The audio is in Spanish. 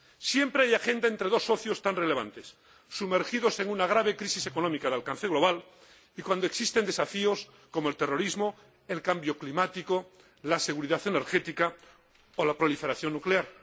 Siempre hay agenda entre dos socios tan relevantes, sumergidos en una grave crisis económica de alcance global, y cuando existen desafíos como el terrorismo, el cambio climático, la seguridad energética o la proliferación nuclear.